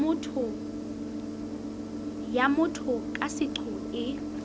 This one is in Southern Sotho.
ya motho ka seqo e